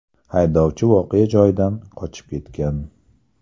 Haydovchi voqea joyidan qochib ketgan.